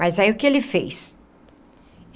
Mas aí o que ele fez?